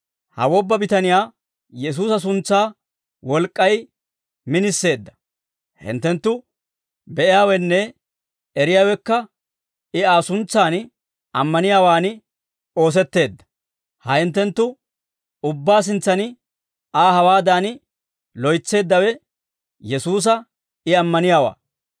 Ha wobba bitaniyaa Yesuusa suntsaa wolk'k'ay miniseedda; hinttenttu be'iyaawenne eriyaawekka I Aa suntsan ammaniyaawaan oosetteedda; ha hinttenttu ubbaa sintsan Aa hawaadan loytseeddawe, Yesuusa I ammaniyaawaa.